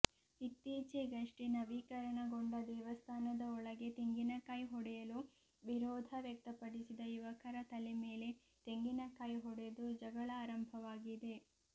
ಇತ್ತೀಚೆಗಷ್ಟೇ ನವೀಕರಣಗೊಂಡ ದೇವಸ್ಥಾನದ ಒಳಗೆ ತೆಂಗಿನಕಾಯಿ ಹೊಡೆಯಲು ವಿರೋಧ ವ್ಯಕ್ತಪಡಿಸಿದ ಯುವಕರ ತಲೆ ಮೇಲೆ ತೆಂಗಿನಕಾಯಿ ಹೊಡೆದು ಜಗಳ ಆರಂಭವಾಗಿದೆ